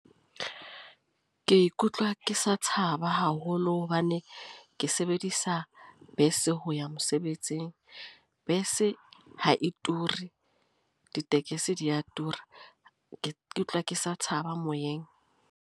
Ke ikutlwa ke sa tshaba haholo. Hobane ke sebedisa bese ho ya mosebetsing. Bese ha e ture, ditekesi di a tura. Ke utlwa ke sa tshaba moyeng.